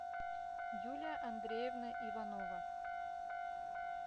юлия андреевна иванова